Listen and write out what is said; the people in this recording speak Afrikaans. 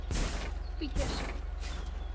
pieterse